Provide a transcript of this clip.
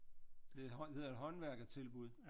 Det hedder et håndværkertilbud